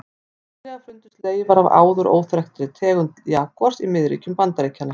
Nýlega fundust leifar af áður óþekktri tegund jagúars í miðríkjum Bandaríkjanna.